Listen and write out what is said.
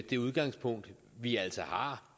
det udgangspunkt vi altså har